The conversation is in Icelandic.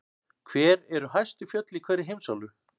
Hver eru hæstu fjöll í hverri heimsálfu?